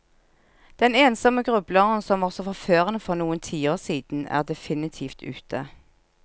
Den ensomme grubleren som var så forførende for noen tiår siden, er definitivt ute.